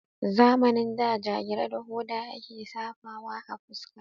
Zamanin da jagira da hoda a ke safawa a fuska.